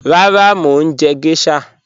Rárá, mo ń jẹ̀ gẹ̀ṣhà.